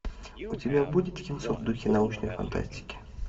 у тебя будет кинцо в духе научной фантастики